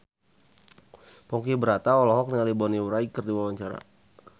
Ponky Brata olohok ningali Bonnie Wright keur diwawancara